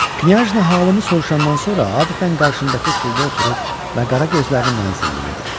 Knya halımı soruşandan sonra adətən qarşındakı sulda oturur, məğara gözlərini mənə zilləyirdi.